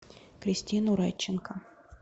кристину радченко